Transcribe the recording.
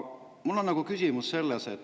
Mu küsimus on selles.